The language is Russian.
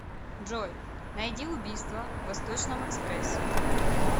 джой найди убийство в восточном экспрессе